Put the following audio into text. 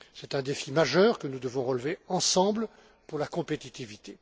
C'est un défi majeur que nous devons relever ensemble pour la compétitivité.